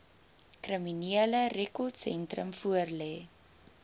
kriminele rekordsentrum voorlê